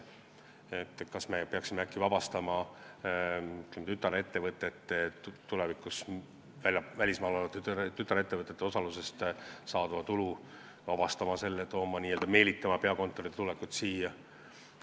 Kas me peaksime äkki tulevikus vabastama maksustamisest välismaal olevate tütarettevõtete osalusest saadava tulu, et meelitada peakontoreid siia?